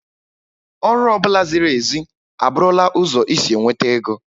Ọrụ ọ bụla ziri ezi a bụrụla ụzọ isi nweta ego